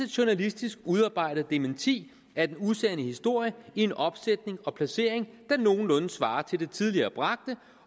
journalistisk udarbejdet dementi af den usande historie i en opsætning og placering der nogenlunde svarer til det tidligere bragte